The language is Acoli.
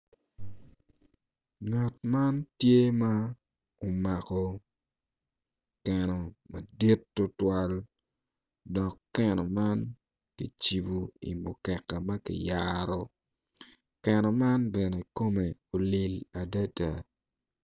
Ngat man tye ma omako keno madit tutwal dok keno man kicibu i mukeka ma kiyaro keno man bene kome olil adada